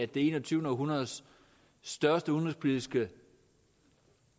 det enogtyvende århundredes største udenrigspolitiske